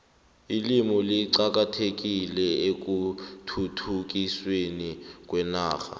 ilimi liqakathekile ekhuthuthukisweni kwenarha